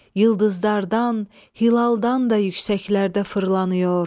Ulduzlardan, hilaldan da yüksəklərdə fırlanıyor.